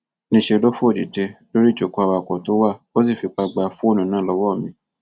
níṣẹ ló fò dìde lórí ìjókòó awakọ tó wà ó sì fipá gba fóònù náà lọwọ mi